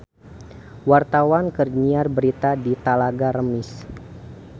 Wartawan keur nyiar berita di Talaga Remis